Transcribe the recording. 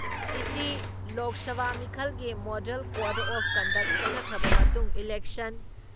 ꯏꯁꯤ ꯂꯣꯛ ꯁꯚꯥ ꯃꯤꯈꯜꯒꯤ model code of conduct ꯆꯠꯅꯈ꯭ꯔꯕ ꯃꯇꯨꯡ ꯏꯂꯦꯛꯁꯟ